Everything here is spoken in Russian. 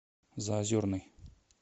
заозерный